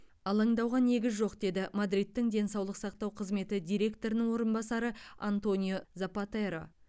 алаңдауға негіз жоқ деді мадридтің денсаулық сақтау қызметі директорының орынбасары антонио запатеро